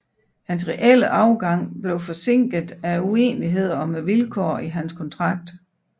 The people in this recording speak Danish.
Hans reelle afgang blev forsinket af uenigheder om vilkårene i hans kontrakt